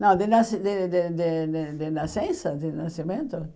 Não, de nasci de de de de de nascença, de nascimento?